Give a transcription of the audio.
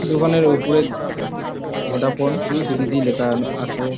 দোকানের ওপরে Vodafone three G লেখা আছে।